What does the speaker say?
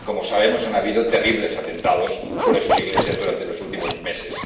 Como sabemos, ha habido terribles atentados sobre sus iglesias durante los últimos meses.